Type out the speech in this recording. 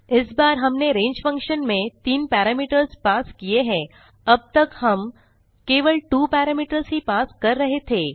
इस बार हमने range फंक्शन में 3 पैरामीटरों पास किये हैं अब तक हम केवल 2 पैरामीटरों ही पास कर रहे थे